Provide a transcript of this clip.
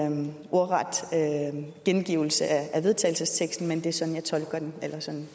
en ordet gengivelse af vedtagelsesteksten men det er sådan